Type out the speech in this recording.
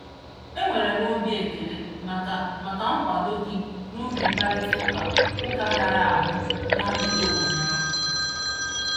E nwere m obi ekele maka maka nkwado gị n'oge mkparịtaụka ụka hịara ahụ na mgbede ụnyaahụ.